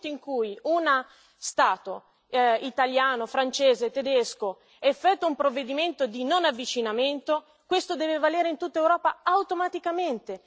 Nel momento in cui uno Stato Italiano, Francia, Germania effettua un provvedimento di non avvicinamento, questo deve valere in tutta Europa automaticamente